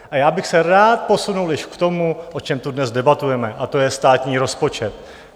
A já bych se rád posunul již k tomu, o čem tu dnes debatujeme, a to je státní rozpočet.